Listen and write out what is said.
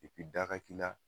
epi da ga k'i la